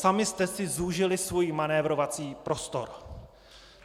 Sami jste si zúžili svůj manévrovací prostor.